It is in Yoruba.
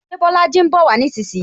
Ṣé Bolaji ń bowa nísinsìnyí?